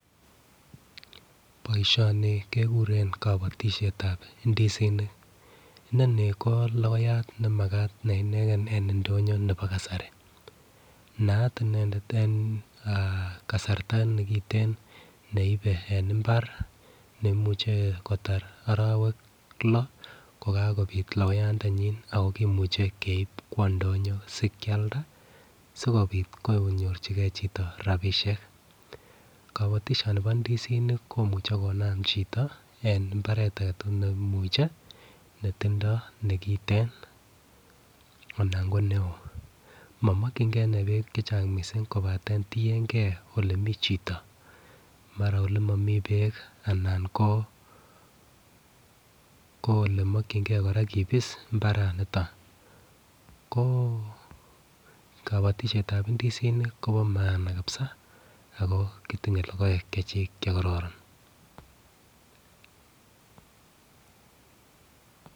Boishoni kekuren kobotishetab indisinik, inoni ko lokoyat nemakat ne ineken en indonyo nebo kasari naat inendet en kasarta nekiten neibe en imbar nemuche kotar orowek loo kokakobit lokoyat ndenyin ako kimuche keib kwo ndonyo sikilda sikopit kwokonyorchigee chito rabishek. Kobotishoni bo ndisinik komuche konam chiton en imbaret agetukul ne imuche netindo nekiten anan ko neo momokingee inee beek chechang missing kopaten tiyengee ole mii chito mara ko olemii bee alan koo olemikingee Koraa kibis imbaraniton ko kobotishetab indisinik Kobo maana kabisa ako kotinye lokoek Chechik chekororon.